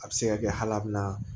A bɛ se ka kɛ hali a bɛ na